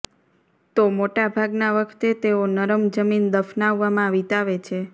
તો મોટા ભાગના વખતે તેઓ નરમ જમીન દફનાવવામાં વિતાવે છે